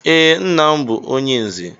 Ee, nnam bú onye nze.